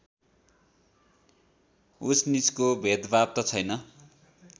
उचनिचको भेदभाव त छैन